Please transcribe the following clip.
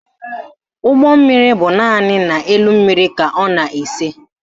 Ụgbọmmiri bụ naanị n'elu mmiri ka ọ na-ese